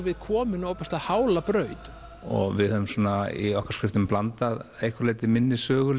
við komin á ofboðslega hála braut við höfum í okkar skriftum blandað einhverju leyti minni sögu